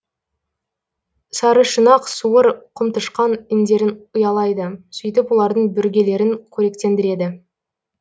сарышұнақ суыр құмтышқан індерін ұялайды сөйтіп олардың бүргелерін қоректендіреді